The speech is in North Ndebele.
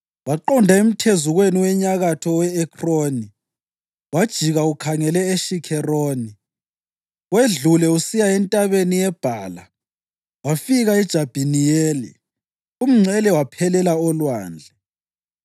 Waqonda emthezukweni wenyakatho owe-Ekroni, wajika ukhangele eShikheroni, wedlule usiya eNtabeni yeBhala wafika eJabhiniyeli. Umngcele waphelela olwandle.